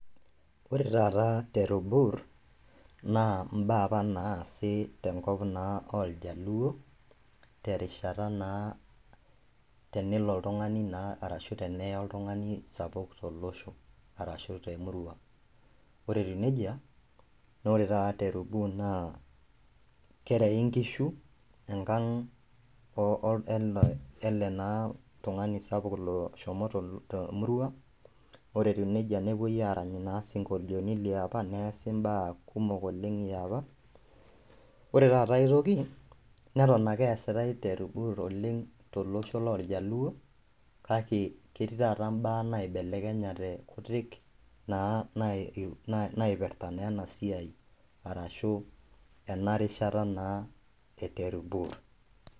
Ore taata tero bur naa imbaa apa naasi tenkop naa oljaluo terishata naa tenelo oltung'ani naa arashu teneye oltung'ani sapuk tolosho arashu temurua ore etiu nejia nore taata tero bur naa kerei inkishu oh ele naa tung'ani sapuk lo loshomo temurua ore etiu nejia nepuoi arany isinkolioni liapa neesi imbaa kumok oleng yiapa ore taata aetoki neton ake eesitai tero bur oleng tolosho lorjaluo kake ketii taata imbaa naibelekenyate kutik naa nae naipirrta naa ena siai arashu ena rishata naa e tero bur.